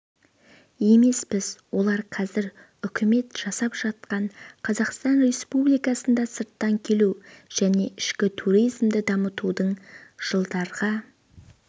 емеспіз олар қазір үкімет жасап жатқан қазақстан республикасында сырттан келу және ішкі туризмді дамытудың жылдарға